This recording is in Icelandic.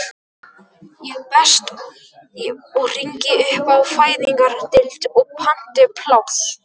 Best ég hringi upp á fæðingardeild og panti pláss!